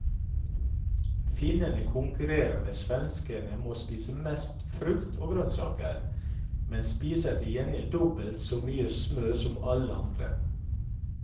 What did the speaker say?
Finnene konkurrerer med svenskene om å spise mest frukt og grønnsaker, men spiser til gjengjeld dobbelt så mye smør som alle andre.